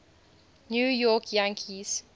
new york yankees